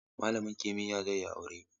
Malamin kimiyya zai yi aure?